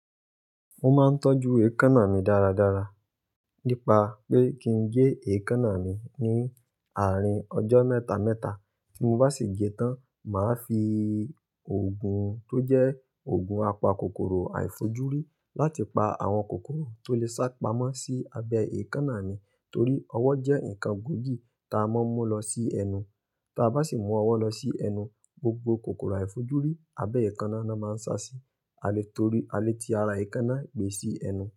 Mo máa ń tọ́jú èékánná mi dáradára nípa pé kí n gé èékánná mi ní àárín ọjọ́ mẹ́ta mẹ́ta. Tí mo bá sì gé tán, màá fi òògùn tó jẹ́ òògùn apa kòkòrò àìfojúrí láti pa àwọn kòkòrò tó lè sá pamọ́ sí abẹ́ èékánná mi torí ọwọ́ jẹ́ nǹkan gbòògì tí a máa ń mú lọ sí ẹnu. Ta bá sì mú ọwọ́ lọ sí ẹnu, gbogbo kòkòrò àìfojúrí abẹ́ èékánná náà máa ń sá sí alẹ́ torí alẹ́ tí ara èékánná gbé sí ẹnu.